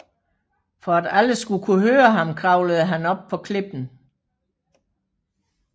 For at alle skulle kunne høre ham kravlede han op på klippen